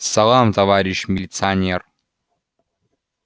салам товарищ милиционер